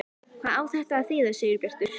HVAÐ Á ÞETTA AÐ ÞÝÐA, SIGURBJARTUR?